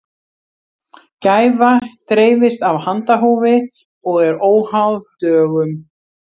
gæfa dreifist af handahófi og er óháð dögum